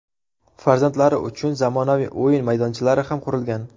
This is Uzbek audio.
Farzandlari uchun zamonaviy o‘yin maydonchalari ham qurilgan.